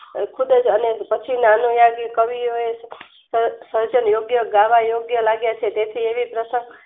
અ ખુબજ અનેરી પછી ના અનુવાદ ની કવિએ એ સ સર્જન યોગ્ય ગાવા યોગ્ય લાગ્યા છે તેથી એવી પર્શક